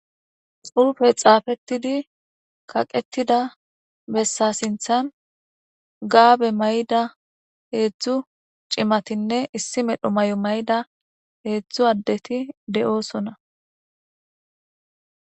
Xupey xapettidi kaqetida besa sinthan Gabe mayida hezhzhu c'imatanne issi medho mayo mayida hezduzdu adetti de'osona.